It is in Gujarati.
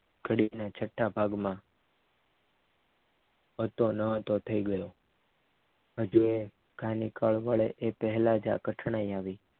ઘડીક ના છઠ્ઠા ભાગમાં હતો ન હતો થઈ ગયો હજી ગાનિકકળ વડે પહેલાં જ આ ઘટના આવી